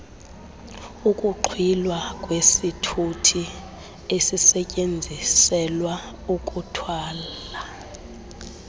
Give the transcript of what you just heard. ukuxhwilwa kwesithuthiesisetyenziselwa ukuthwala